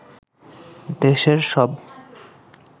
দেশের সব